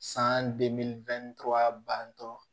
San bantɔ